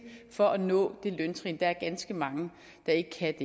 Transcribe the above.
for at nå det løntrin der er ganske mange der ikke kan